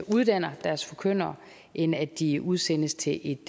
uddanner deres forkyndere end at de udsendes til et